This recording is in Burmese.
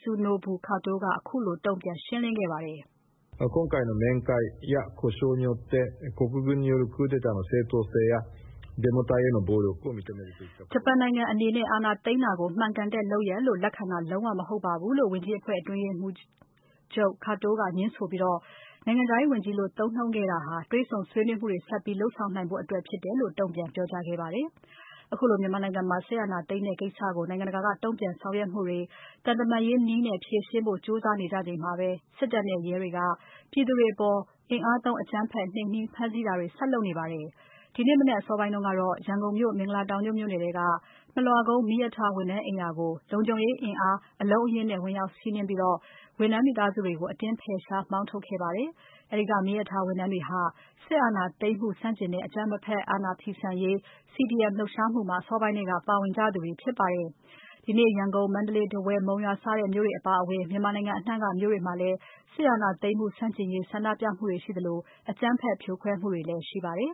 Katsunobu Katō ကခုလို တုံ့ပြန် ရှင်းလင်းခဲ့ပါတယ်။ ဂျပန်နိုင်ငံအနေနဲ့ အာဏာသိမ်းတာကို မှန်ကန်တဲ့လုပ်ရပ်လို့ လက်ခံတာ လုံးဝ မဟုတ်ပါဘူးလို့ ဝန်ကြီးအဖွဲ့ အတွင်းရေးမှူးချုပ် Katō က ငြင်းဆိုခဲ့ပြီး နိုင်ငံခြားရေးဝန်ကြီးလို့ သုံးနှုန်းခဲ့တာဟာ တွေ့ဆုံဆွေးနွေးမှုတွေ ဆက်ပြီး လုပ်ဆောင်နိုင်ဖို့အတွက် ဖြစ်တယ်လို့ တုံ့ပြန်ပြောကြားခဲ့ပါတယ်။ အခုလို မြန်မာနိုင်ငံမှာ စစ်အာဏာသိမ်းတဲ့ကိစ္စကို နိုင်ငံတကာက တုံ့ပြန်ဆောင်ရွက်မှုတွေ သံတမန်ရေးနည်းနဲ့ ဖြေရှင်းဖို့ လုပ်နေကြချိန်မှာပဲ၊ စစ်တပ်နဲ့ရဲတွေက ပြည်သူတွေအပေါ် အင်အားသုံး အကြမ်းဖက် နှိမ်နင်း ဖမ်းဆီးနေတာတွေ ဆက်လုပ်နေပါတယ်။ ဒီနေ့မနက်အစောပိုင်းကတော့ ရန်ကုန်မြို့ မင်္ဂလာတောင်ညွန့် မြို့နယ်ထဲက မလွှကုန်းက မီးရထားဝန်ထမ်းအိမ်ယာကို လုံခြုံရေးအင်အား အလုံးအရင်းနဲ့ ဝင်ရောက်စီးနင်းပြီး ဝန်ထမ်းမိသားစုတွေကို အတင်းဖယ်ရှား၊ မောင်းထုတ်ခဲ့ပါတယ်။ အဲဒီက မီးရထားဝန်ထမ်းတွေဟာ စစ်အာဏာသိမ်းမှုဆန့်ကျင်တဲ့ အကြမ်းမဖက် အာဏာဖီဆန်ရေး CDM လှုပ်ရှားမှုမှာ အစောပိုင်းထဲက ပါဝင်ကြသူတွေဖြစ်ပါတယ်။ ဒီနေ့ ရန်ကုန်၊ မန္တလေး၊ ထားဝယ်၊ မုံရွာ စတဲ့မြို့တွေအပါအဝင် မြန်မာနိုင်ငံအနှံ့က မြို့တွေမှာ စစ်အာဏာသိမ်းမှု ဆန့်ကျင်ရေး ဆန္ဒပြမှုတွေရှိသလို အကြမ်းဖက် ဖြိုခွဲမှုတွေလည်း ရှိခဲ့ပါတယ်